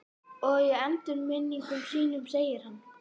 Og í endurminningum sínum segir hann